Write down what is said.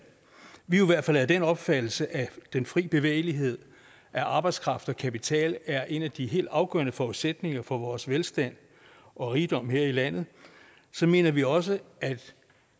vi i hvert fald er af den opfattelse at den fri bevægelighed af arbejdskraft og kapital er en af de helt afgørende forudsætninger for vores velstand og rigdom her i landet mener vi også at